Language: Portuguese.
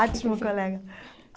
Ótimo, colega.